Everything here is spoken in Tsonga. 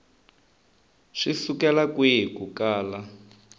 swi sukela kwihi ku kala